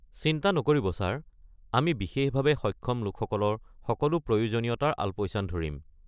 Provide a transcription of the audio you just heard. চিন্তা নকৰিব, ছাৰ, আমি বিশেষভাৱে সক্ষম লোকসকলৰ সকলো প্ৰয়োজনীয়তাৰ আলপৈচান ধৰিম।